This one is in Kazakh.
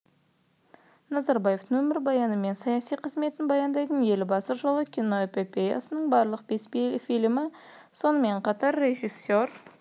назарбаевтың өмірбаяны мен саяси қызметін баяндайтын елбасы жолы киноэпопеясының барлық бес фильмі сонымен қатар режиссер